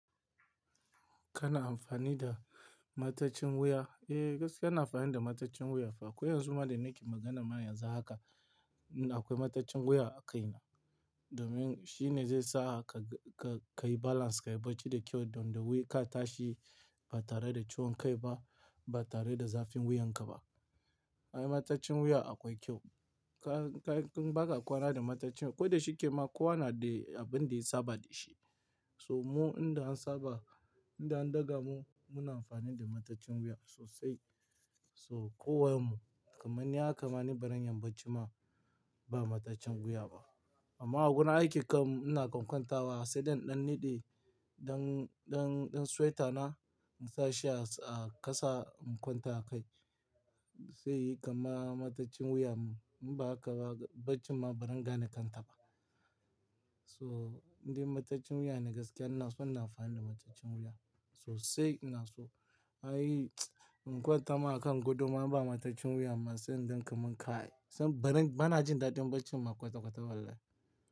Kana amfani da mataccin wuya? Eh, gaskiya na amfani da mataccin wuya. Ko yanzu ma da nake magana ma yanza haka. Inda akwai mataccin wuya a kai na. Domin shi ne zai sa ka, ka, ka yi balance, ka yi barci da kyau don da ka tashi ba tare da ciwon kai ba, ba tare da zafin wuyan ka ba. Ai mataccin wuya akwai kyau. Ka, ka in ba ka kwana da mataccin, ko da shi ke ma kowa na da abin da ya saba da shi. So mu inda an saba, inda an daga mu, muna amfani da mataccin wuya sosai. So kowa mu, kamar ni haka ma ni, bariyan barcin ma ba mataccin wuya ba. Amma a gurin aikin kam ina kwankwanta wa sai ɗan, ɗan niɗe ɗan, ɗan, ɗan swaita na in sa shi a ƙasa in kwanta a kai. Sai yayi kama mataccin wuya mu, in ba haka ba barcin ma barin gane kan taba. So indai mataccin wuya ne gaskiya ina so ina amfani da mataccin wuya sosai ina so. Ai in kwanta ma a kan guduma ba mataccin wuya ba sai inda ka mun kai. Zan barin, bana jin daɗin barcin ma kwata-kwata wallahi.